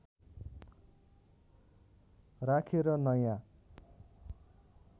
राखेर नयाँ